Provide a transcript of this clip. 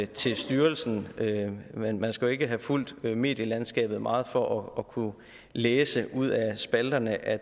til styrelsen men man skal jo ikke havde fulgt medielandskabet meget for at kunne læse ud af spalterne at